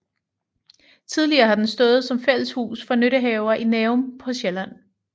Tidligere har den stået som fælleshus for nyttehaver i Nærum på Sjælland